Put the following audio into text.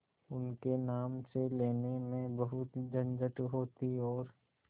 उनके नाम से लेने में बहुत झंझट होती और